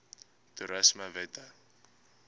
toerismewette